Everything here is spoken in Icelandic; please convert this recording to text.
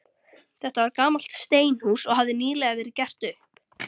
Þetta var gamalt steinhús, og hafði nýlega verið gert upp.